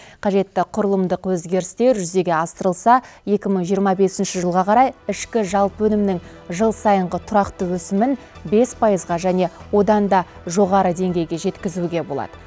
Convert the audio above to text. қажетті құрылымдық өзгерістер жүзеге асырылса екі мың жиырма бесінші жылға қарай ішкі жалпы өнімнің жыл сайынғы тұрақты өсімін бес пайызға және одан да жоғары деңгейге жеткізуге болады